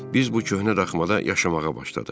Biz bu köhnə daxmada yaşamağa başladıq.